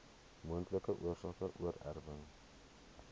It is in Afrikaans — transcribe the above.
moontlike oorsake oorerwing